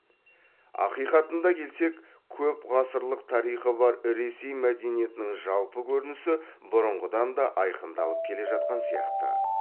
ақиқатына келсек көп ғасырлық тарихы бар ресей мәдениетінің жалпы көрінісі бұрынғыдан да айқындалып келе жатқан сияқты